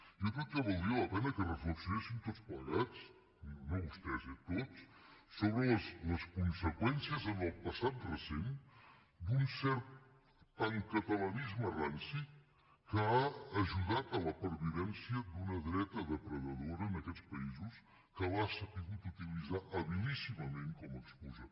jo crec que valdria la pena que reflexionéssim tots plegats no vostès eh tots sobre les conseqüències en el passat recent d’un cert pancatalanisme ranci que ha ajudat a la pervivència d’una dreta depredadora en aquests països que l’ha sabut utilitzar habilíssimament com a excusa